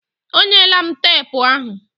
Ọ nyela m tepu ahụ